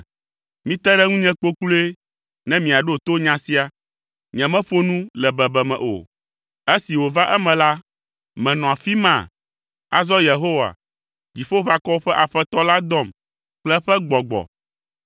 “Mite ɖe ŋunye kpokploe ne miaɖo to nya sia, nyemeƒo nu le bebeme o.” Esi wòva eme la, menɔ afi ma? Azɔ Yehowa, Dziƒoʋakɔwo ƒe Aƒetɔ la dɔm kple eƒe Gbɔgbɔ.